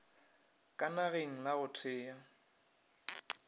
ka nageng la go thea